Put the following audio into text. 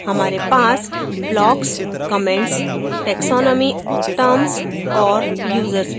हमारे पास blocks comments taxonomy terms और users भी हैं